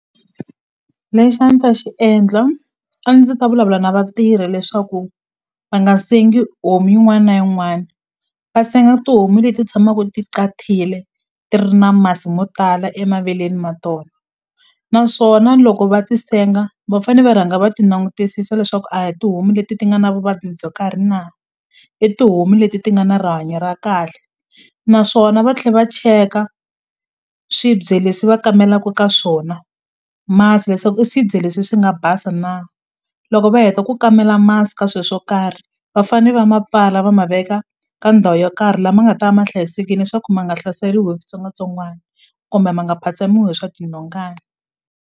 Lexi a ni ta xi endla a ndzi ta vulavula na vatirhi leswaku va nga sengi homu yin'wana na yin'wana va senga tihomu leti tshamaku ti ti ri na masi mo tala emaveleni ma tona naswona loko va ti senga va fane va rhanga va ti nangutisisa leswaku a hi tihomu leti ti nga na vuvabyi byo karhi na i tihomu leti ti nga na rihanyo ra kahle naswona va tlhe va cheka swibye leswi va kamelaku ka swona masi leswaku i swibye leswi swi nga basa na loko va heta ku kamela masi ka swe swo karhi va fane va ma pfala va ma veka ka ndhawu yo karhi lama nga ta ma hlayisekini leswaku ma nga hlaseriwi hi switsongwatsongwana kumbe ma nga phatsamiwi hi swa tinhongani.